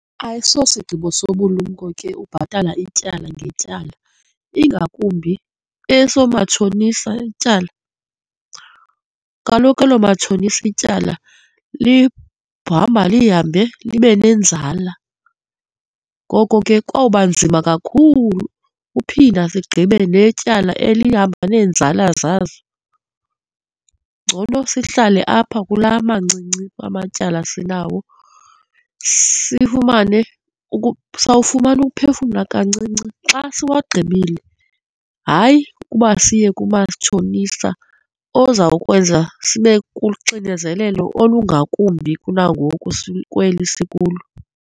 Ayisosigqibo sobulumko ke ubhatala ityala ngetyala ingakumbi esoomatshonisa ityala. Kaloku eloomatshonisa ityala lihamba lihambe libe nenzala. Ngoko ke kwawuba nzima kakhulu uphinda sigqibe netyala elihamba neenzala zazo. Ngcono sihlale apha kulaa amancinci amatyala esinawo, sifumane, sawufumana ukuphefumla kancinci xa siwagqibile, hayi, kuba siye kumatshonisa ozawukwenza sibe kuxinezelelo olungakumbi kunangoku kweli sikulo.